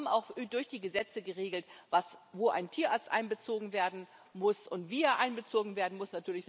Wir haben auch durch die Gesetze geregelt, wo ein Tierarzt einbezogen werden muss und wie er einbezogen werden muss.